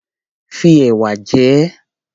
Fi ẹ̀wà jẹ ẹ́.